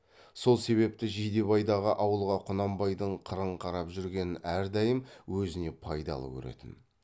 сол себепті жидебайдағы ауылға құнанбайдың қырын қарап жүргенін әрдайым өзіне пайдалы көретін